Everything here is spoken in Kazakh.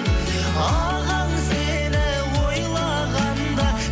ағаң сені ойлағанда